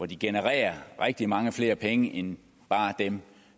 de genererer rigtig mange flere penge end dem